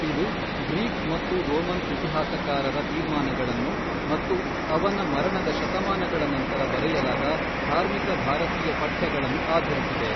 ಇದು ಗ್ರೀಕ್ ಮತ್ತು ರೋಮನ್ ಇತಿಹಾಸಕಾರರ ತೀರ್ಮಾನಗಳನ್ನು ಮತ್ತು ಅವನ ಮರಣದ ಶತಮಾನಗಳ ನಂತರ ಬರೆಯಲಾದ ಧಾರ್ಮಿಕ ಭಾರತೀಯ ಪಠ್ಯಗಳನ್ನು ಆಧರಿಸಿದೆ.